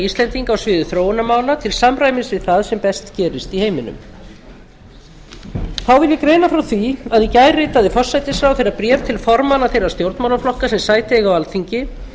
á sviði þróunarmála til samræmis við það sem best gerist í heiminum þá vil ég greina frá því að í gær ritaði forsætisráðherra bréf til formanna þeirra stjórnmálaflokka sem sæti eiga á alþingi